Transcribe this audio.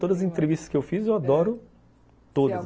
Todas as entrevistas que eu fiz, eu adoro todas.